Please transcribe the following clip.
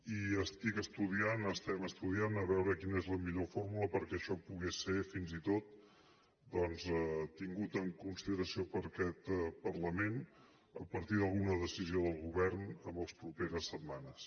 i estic estudiant estem estudiant a veure quina és la millor fórmula perquè això pogués ser fins i tot doncs tingut en consideració per aquest parlament a partir d’alguna decisió del govern en les properes setmanes